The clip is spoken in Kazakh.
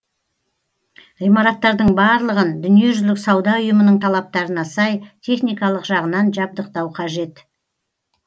ғимараттардың барлығын дүниежүзілік сауда ұйымының талаптарына сай техникалық жағынан жабдықтау қажет